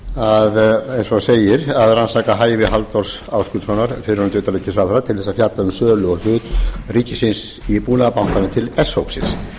var eins og segir að rannsaka hæfi halldórs ásgrímssonar fyrrverandi utanríkisráðherra til þess að fjalla um sölu og hlut ríkisins í búnaðarbankanum til s hópsins